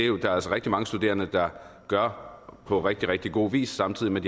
jo altså rigtig mange studerende der gør på rigtig rigtig god vis samtidig med